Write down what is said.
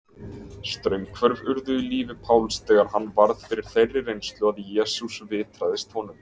Straumhvörf urðu í lífi Páls þegar hann varð fyrir þeirri reynslu að Jesús vitraðist honum.